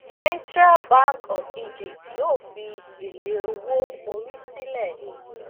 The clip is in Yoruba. central bank of egypt yóò fi èlé owó orí sílẹ